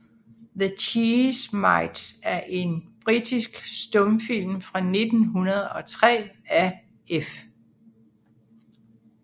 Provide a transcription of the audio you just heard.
The Cheese Mites er en britisk stumfilm fra 1903 af F